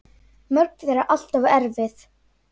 Mörg þeirra allt of erfið.